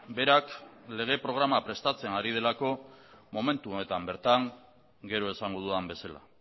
berak lege programa prestatzen ari delako momentu honetan bertan gero esango dudan bezala